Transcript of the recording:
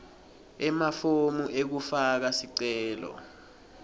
emafomu ekufaka sicelo